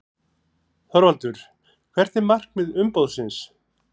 ÞORVALDUR: Hvert er markmið umboðsins?